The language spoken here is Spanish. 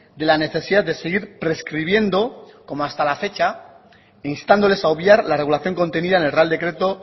de la necesidad de seguir prescribiendo como hasta la fecha e instándoles a obviar la regulación contenida en el real decreto